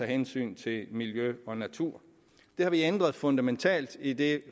hensyn til miljø og natur det har vi ændret fundamentalt i det